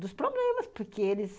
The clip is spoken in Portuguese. Dos problemas, porque eles...